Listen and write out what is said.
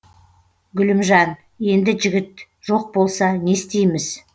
гүлімжан енді жігіт жоқ болса не істейміз